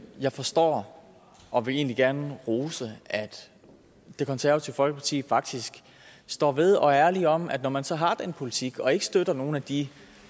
jeg forstår og vil egentlig gerne rose at det konservative folkeparti faktisk står ved og er ærlige om at når man så har den politik og ikke støtter nogle af de